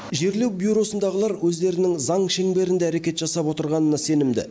жерлеу бюросындағылар өздерінің заң шеңберінде әрекет жасап отырғанына сенімді